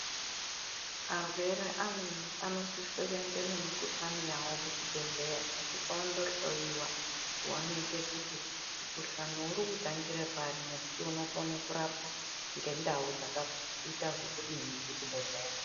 Arwere amweni anosisa kuenda nezvirwere zvawo kuzvibhedhlera osvika ondohloiwa kuonekwa kuti mukuhlani uri kutangura papi nekuti unokona kurapwa nendau dzakaita zvekudini kuzvibhedhlera.